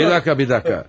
Bir dəqiqə, bir dəqiqə.